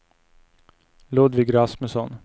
Ludvig Rasmusson